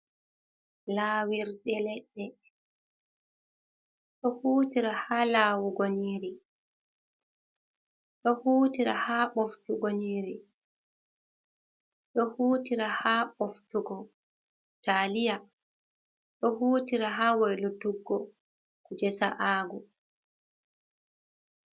Lawirɗe leɗɗe ɗo hutira ha lawugo yniri, ɗo hutira ha ɓoftugo yniri, ɗo hutira ha ɓoftugo taliya, ɗo hutira ha waylutuggo kuje sa’ago.